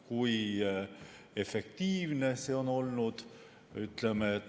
Kui efektiivne see on olnud?